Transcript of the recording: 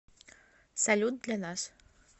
салют для нас